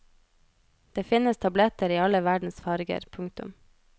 Det finnes tabletter i alle verdens farger. punktum